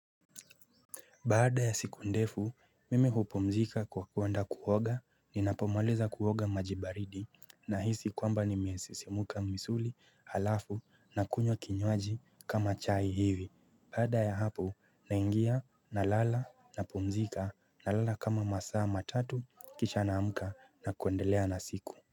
Baada ya siku ndefu, mimi hupumzika kwa kuenda kuoga, ninapomaliza kuoga maji baridi, nahisi kwamba nimesisimuka misuli, alafu, nakunywa kinywaji kama chai hivi. Baada ya hapo, naingia, nalala, napumzika, nalala kama masaa matatu, kisha naamka, na kuendelea na siku.